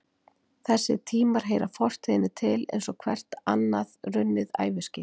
Þessir tímar heyra fortíðinni til eins og hvert annað runnið æviskeið.